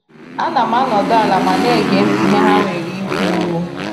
Ana m anọdụ ala ma na ege ntị ihe ha nwere ikwu.